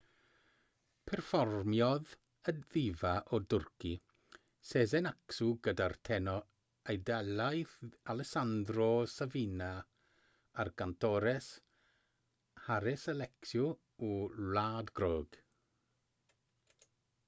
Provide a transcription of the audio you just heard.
perfformiodd y ddifa o dwrci sezen aksu gyda'r tenor eidalaidd alessanndro safina a'r gantores haris alexiou o wlad groeg